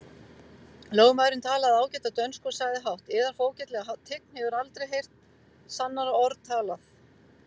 Lögmaðurinn talaði ágæta dönsku og sagði hátt:-Yðar fógetalega tign hefur aldrei heyrt sannara orð talað!